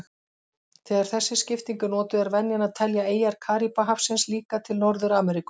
Þegar þessi skipting er notuð er venjan að telja eyjar Karíbahafsins líka til Norður-Ameríku.